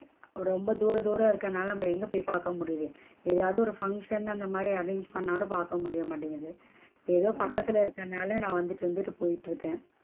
ரொம்ப தூர தூர இருக்கனால நாம எங்க போயி பாக்க முடியுது ஏதாது function அந்த மாதிரி arrange பண்ணாலும் பாக்க முடிய மாட்டேங்குது ஏதோ பக்கத்துல இருக்கனால நான் வந்துட்டு வந்துட்டு போயிட்டு இருக்கேன்.